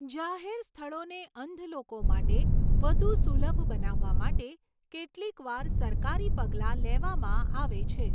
જાહેર સ્થળોને અંધ લોકો માટે વધુ સુલભ બનાવવા માટે કેટલીકવાર સરકારી પગલાં લેવામાં આવે છે.